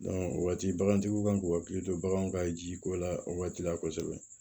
o waati bagantigiw kan k'u hakili to baganw ka jiko la o waati la kosɛbɛ